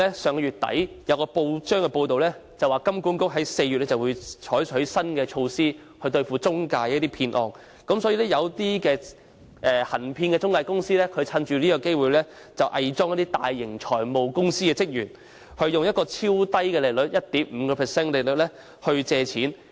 上月底有報章報道，香港金融管理局將於4月採取新措施以打擊中介騙案，所以，一些行騙的中介藉此期間偽裝為大型財務公司的職員，以低至 1.5% 的超低利率誘使市民貸款。